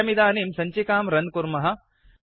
वयमिदानीं सञ्चिकां रन् कुर्मः